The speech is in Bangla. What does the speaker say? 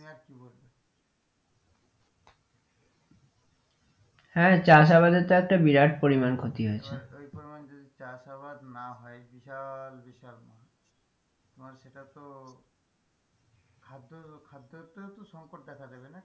হ্যাঁ চাষ আবাদের তো একটি বিরাট পরিমান ক্ষতি হয়েছে এবার ওই পরিমান যদি চাষ আবাদ না হয় বিশাল বিশাল তোমার সেটা তো খাদ্য খাদ্যতেও সংকট দেখা দেবে না,